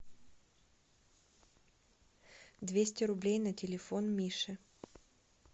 двести рублей на телефон миши